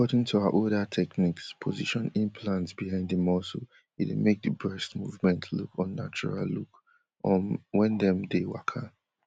according to her older techniques position implants behind di muscle e dey make di breast movement look unnatural look um wen dem dey waka